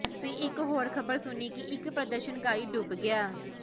ਅਸੀਂ ਇੱਕ ਹੋਰ ਖ਼ਬਰ ਸੁਣੀ ਕਿ ਇੱਕ ਪ੍ਰਦਰਸ਼ਨਕਾਰੀ ਡੁੱਬ ਗਿਆ